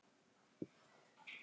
Henst á lappir